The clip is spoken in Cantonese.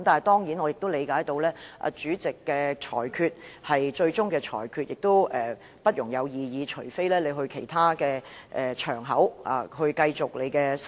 然而，我明白主席的裁決是最終裁決，不容異議，須另覓其他場合討論。